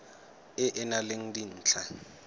e e nang le dintlha